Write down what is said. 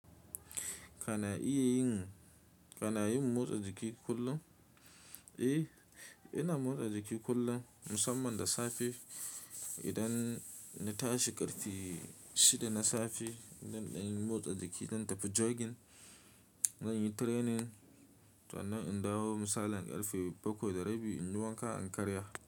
Kana iya yin, kana yin motsa jiki kullum? Eh, ina motsa jiki kullum musamman da safe. Idan na tashi ƙarfe shida na safe, zan dan motsa jiki, zan tafi jogging, zan yi training, sannan in dawo misalin ƙarfe bakwai da rabi in wanka, in karya.